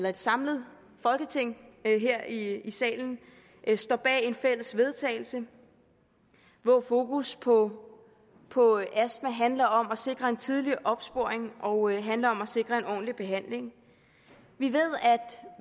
at et samlet folketing her i salen står bag et fælles vedtagelse hvor fokus på på astma handler om at sikre en tidlig opsporing og handler om at sikre en ordentlig behandling vi ved at